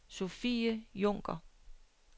Sophie Junker